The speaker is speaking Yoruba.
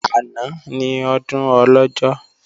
Àná ni Ọdún Ọlọ́jọ́